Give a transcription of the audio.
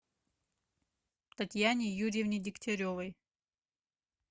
татьяне юрьевне дегтяревой